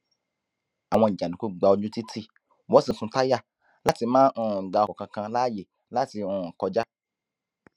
àwọn jàǹdùkú gba ojú títí wọn sì ń sun táyà láti má um gba ọkọ kankan láàyè láti um kọjá